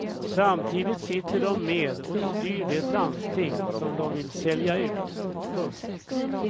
Samtidigt sitter de med och styr det landsting som de vill sälja ut. punkt